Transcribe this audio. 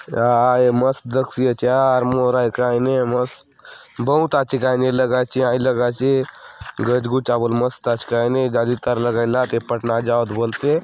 काय मस्त दखसि आचे यार मोर आय कायने मस्त बहुत आचे कायने ए लगे आचे हाय लगे आचे गच गुचा बले मस्त आचे कायने जाली तार लगाय ला आत ए पाट ना जाओत बलते।